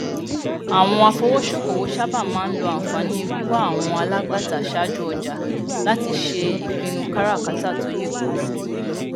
àwọn afowósókowò sáabà máa n lo ànfààní wíwà àwọn alágbàtà sáájú ọjà láti ṣe ìpinnu káràkátà tó yè kooro